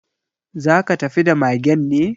Za ka tafi da magen ne?